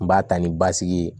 N b'a ta ni basigi ye